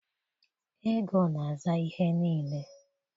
ego na-aza ihe niile